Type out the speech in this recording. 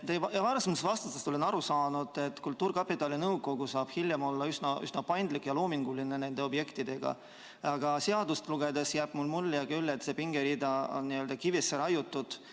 Teie varasematest vastustest olen aru saanud, et kultuurkapitali nõukogu saab hiljem olla üsna paindlik ja loominguline nende objektidega, aga seadust lugedes jääb mulle küll mulje, et see pingerida on kivisse raiutud.